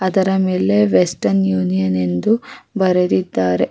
ಅದರ ಮೇಲೆ Western Union ಎಂದು ಬರೆದಿದ್ದಾರೆ.